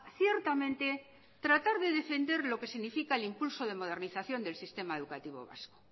ciertamente tratar de defender lo que significa el impulso de modernización del sistema educativo vasco